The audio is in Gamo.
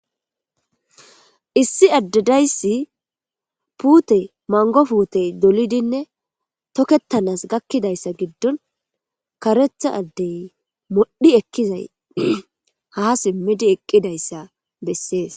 issi addedayssi puute mango fuutey dolidinne tokettanas gakkidayssa giddun karetha addey modhi ekkizay ha simmidi eqqidayssa bessees